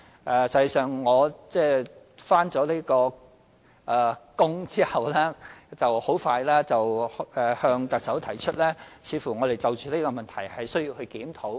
實際上，我履任後不久即向特首提出，我們需要就着這個問題進行檢討。